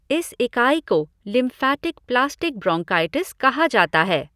इस इकाई को लिम्फैटिक प्लास्टिक ब्रोंकाइटिस कहा जाता है।